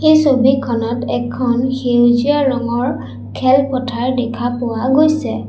এই ছবিখনত এখন সেউজীয়া ৰঙৰ খেলপথাৰ দেখা পোৱা গৈছে।